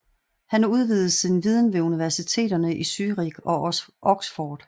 Han udvidede sin viden ved universiteterne i Zürich og Oxford